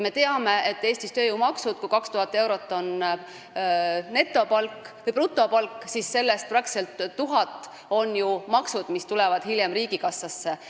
Me teame Eesti tööjõumakse: kui brutopalk on 2000 eurot, siis sellest peaaegu 1000 eurot on maksud, mis tulevad hiljem riigikassasse.